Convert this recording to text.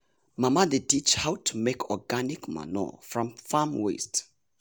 mama dey teach how to make organic manure from farm waste.